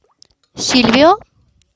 сильвио